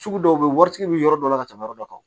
Sugu dɔw bɛ yen waritigi bɛ yɔrɔ dɔ la ka tɛmɛ yɔrɔ dɔ kan